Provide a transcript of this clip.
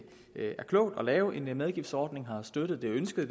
er klogt at lave en medgiftsordning vi har støttet det ønsket